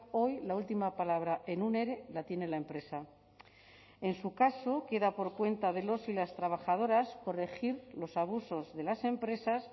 hoy la última palabra en un ere la tiene la empresa en su caso queda por cuenta de los y las trabajadoras corregir los abusos de las empresas